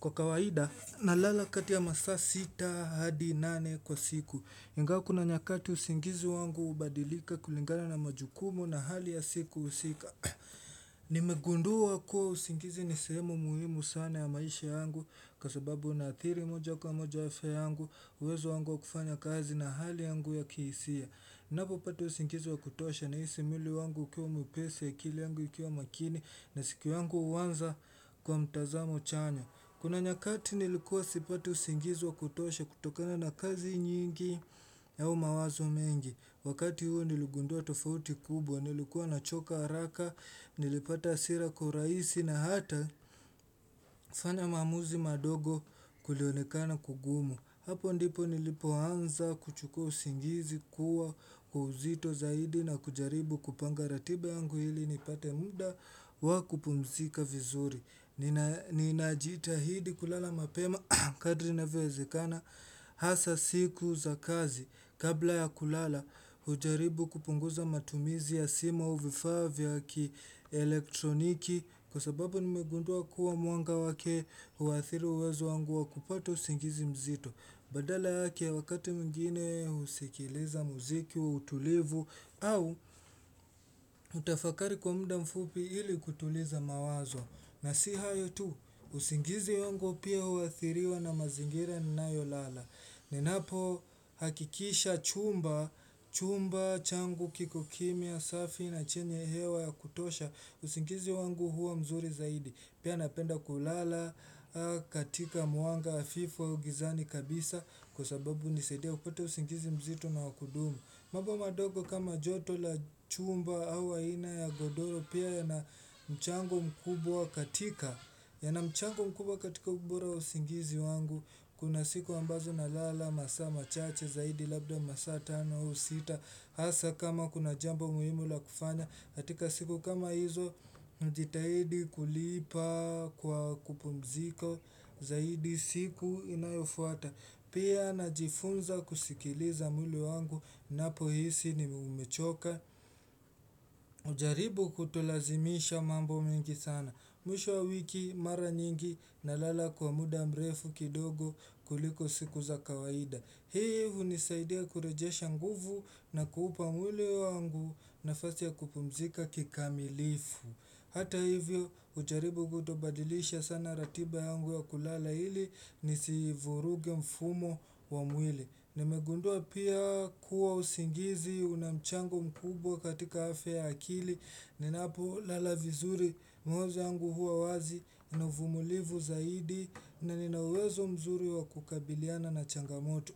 Kwa kawaida nalalakati ya masaa sita hadi nane kwa siku ingawa kuna nyakati usingizi wangu ubadilika kulingana na majukumu na hali ya siku husika Nimegunduwa kuwa usingizi nisehemu muhimu sana ya maisha yangu Kwasababu naathiri moja kwa moja afya yangu uwezo wangu wa kufanya kazi na hali yangu ya kiisia Napo pata usingizi wa kutosha na isi mwili wangu ukiwa mwepesi akili yangu ikiwa makini na siku yangu uwanza kwa mtazamo chanya Kuna nyakati nilikuwa sipati usingizi wa kutosha kutokana na kazi nyingi nao mawazo mengi. Wakati huo nilugundua tofauti kubwa, nilikuwa na choka araka, nilipata asira kwa uraisi na hata kufanya maamuzi madogo kulionekana kugumu. Hapo ndipo nilipo anza kuchukua usingizi kuwa kwa uzito zaidi na kujaribu kupanga ratiba yangu hili nipate muda wakupumzika vizuri. Ninajita hidi kulala mapema kadri navyowezekana Hasa siku za kazi Kabla ya kulala hujaribu kupunguza matumizi ya simu auvifaa vya ki elektroniki Kwa sababu nimegundua kuwa muanga wake huathiri uwezo wangu wa kupata usingizi mzito Badala yake wakati mwingine usikiliza muziki wa utulivu au utafakari kwa mda mfupi ili kutuliza mawazo na si hayo tu, usingizi wangu pia huathiriwa na mazingira nina yolala. Ninapo hakikisha chumba, chumba, changu, kikokimya, safi na chenye hewa ya kutosha, usingizi wangu huwa mzuri zaidi. Pia napenda kulala, katika muanga, hafifu augizani kabisa, kwa sababu unisaidia upate usingizi mzito na wakudumu. Mambo madogo kama joto la chumba au aina ya godoro pia ya na mchango mkubwa katika ya na mchango mkubwa katika mkubwa katika ubora wa usingizi wangu Kuna siku ambazo na lala, masaa, machache, zaidi, labda masa, tano, ausita Asa kama kuna jambo muhimu la kufanya katika siku kama hizo, jitahidi kulipa kwa kupumziko Zaidi siku inayofuata Pia na jifunza kusikiliza mwili wangu na po hisi nimechoka ujaribu kutolazimisha mambo mingi sana Mwisho wiki mara nyingi na lala kwa muda mrefu kidogo kuliko sikuza kawaida Hii hu nisaidia kurejesha nguvu na kuupa mwili wangu nafasi ya kupumzika kikamilifu Hata hivyo ujaribu kutobadilisha sana ratiba yangu ya kulala hili Nisivuruge mfumo wa mwili Nimegundua pia kuwa usingizi unamchango mkubwa katika afya ya akili Ninapo lalavizuri mawazo yangu huwa wazi nauvumulivu zaidi na ninawezo mzuri wakukabiliana na changamoto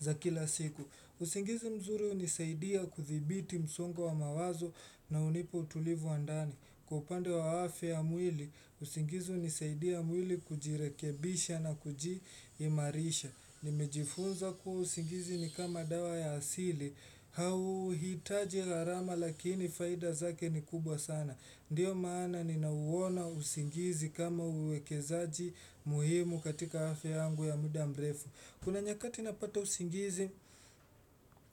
za kila siku usingizi mzuri unisaidia kuthibiti msongo wa mawazo na unipa utulivu wandani Kwaupande wa afya ya mwili, usingizi unisaidia mwili kujirekebisha na kujimarisha Nimejifunza kuwa usingizi ni kama dawa ya asili hau hitaji gharama lakini faida zake ni kubwa sana Ndiyo maana ninauwona usingizi kama uwekezaji muhimu katika afya yangu ya muda mrefu Kuna nyakati napata usingizi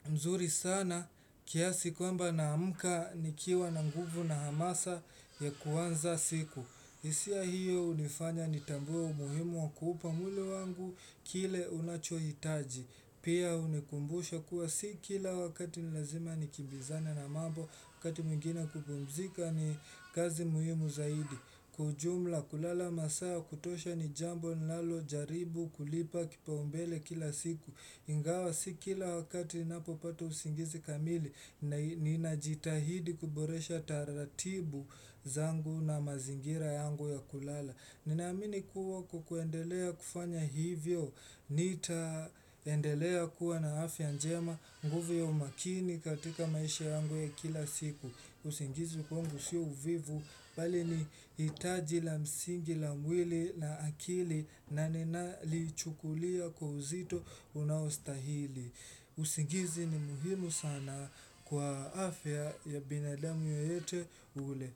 mzuri sana kiasi kwamba na mka ni kiwa na nguvu na hamasa ya kuanza siku isia hiyo unifanya ni tambuo muhimu wa kuupa mwili wangu kile unachoitaji Pia unikumbusha kuwa si kila wakati nilazima nikibizane na mambo wakati mwingine kupumzika ni kazi muhimu zaidi Kwa ujumla kulala masaa ya kutosha ni jambo ninalo jaribu kulipa kipaumbele kila siku Ingawa si kila wakati napo pata usingizi kamili, ni najitahidi kuboresha taratibu zangu na mazingira yangu ya kulala. Ninaamini kuwa kwakuendelea kufanya hivyo, nitaendelea kuwa na afya njema, nguvu ya umakini katika maisha yangu ya kila siku. Usingizi kwangu sio uvivu, bali ni itaji la msingi la mwili na akili na nina li chukulia kwa uzito unaostahili. Usingizi ni muhimu sana kwa afya ya binadamu yeyote ule.